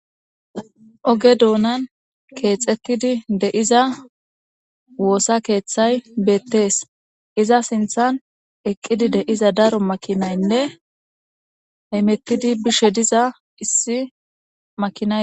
Oge doonan keexettidi de7iza woossa keeththay beettees iza sinthan eqqidi de7iza daro makinaynne haymettidi bishe diza issi makina.